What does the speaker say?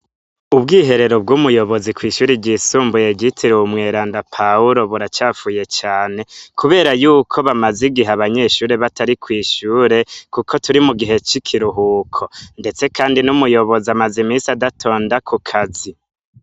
Ubwiherero bw'umuyobozi kw'ishure ryisumbuye ryitiriwe umweranda Pawuro buracafuye cane kubera y'uko bamaze igihe abanyeshure batari kw'ishure kuko turi mu gihe c'ikiruhuko. Ndetse kandi n'umuyobozi amaz'imisi adatonda ku kazi.